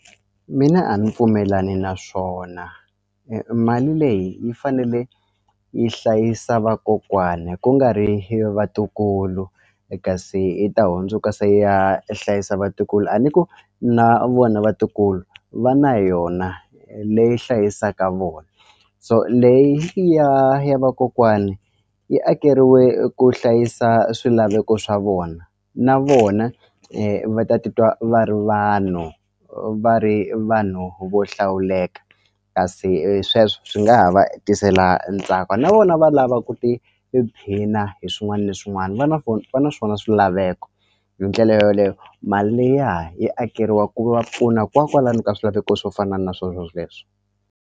Mina a mi pfumelani na swona mali leyi yi fanele yi hlayisa vakokwani ku nga ri vatukulu e kasi yi ta hundzuka se ya hlayisa vatukulu a ni ku na vona vatukulu va na yona leyi hlayisaka vona so leyi ya ya vakokwani yi akeriwe ku hlayisa swilaveko swa vona na vona va titwa va ri vanhu va ri vanhu vo hlawuleka kasi sweswo swi nga ha va tisela ntsako na vona va lava ku tiphina hi swin'wani na swin'wani va na va na swona swilaveko hi ndlela yoleyo mali liya yi akeriwa ku va pfuna ka swilaveko swo fana na swo swoleswo.